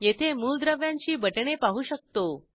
येथे मूलद्रव्यांची बटणे पाहू शकतो